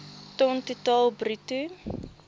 ton totaal bruto